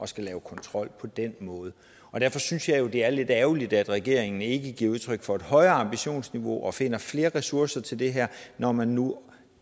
skulle lave kontrol på den måde derfor synes jeg jo det er lidt ærgerligt at regeringen ikke giver udtryk for et højere ambitionsniveau og finder flere ressourcer til det her når man nu